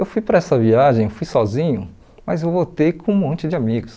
Eu fui para essa viagem, fui sozinho, mas eu voltei com um monte de amigos.